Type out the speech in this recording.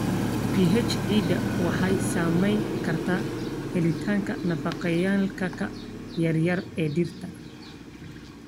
pH ciidda waxay saameyn kartaa helitaanka nafaqeeyayaalka yar yar ee dhirta.